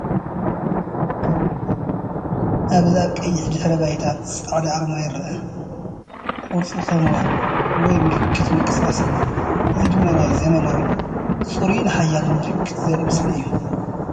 ኣብዚ ኣብ ቀይሕ ድሕረ ባይታ ጻዕዳ ኣርማ ይርአ። ቅርጹ ከም “ወ” ወይ ምልክት ምንቅስቓስ እዩ። እዚ ደማ ናይ ዘመናዊ፣ ጽሩይን ሓያልን ምልክት ዘርኢ ምስሊ እዩ።